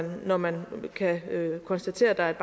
når man kan konstatere at der er et